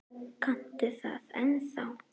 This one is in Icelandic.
Kanntu það ennþá?